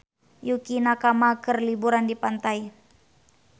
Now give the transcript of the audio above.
Yukie Nakama keur liburan di pantai